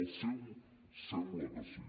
el seu sembla que sí